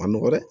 A ma nɔgɔ dɛ